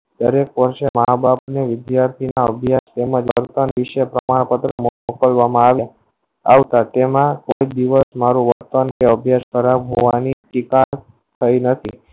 દરેક મહાભારત નું વિધ્યારતી ના અભ્યાસ તેમજ જડતા ના વિષય તેમાં કરવા મા આવ્યું આવતા તેમાં કોયિક દિવસ મારો Progress હોવાની શિકાર થયી નથી